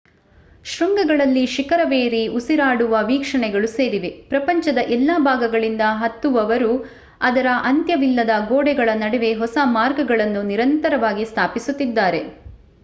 ಶೃಂಗಗಳಲ್ಲಿ ಶಿಖರವೇರಿ ಉಸಿರಾಡುವ ವೀಕ್ಷಣೆಗಳು ಸೇರಿವೆ ಪ್ರಪಂಚದ ಎಲ್ಲಾ ಭಾಗಗಳಿಂದ ಹತ್ತುವವರು ಅದರ ಅಂತ್ಯವಿಲ್ಲದ ಗೋಡೆಗಳ ನಡುವೆ ಹೊಸ ಮಾರ್ಗಗಳನ್ನು ನಿರಂತರವಾಗಿ ಸ್ಥಾಪಿಸುತ್ತಿದ್ದಾರೆ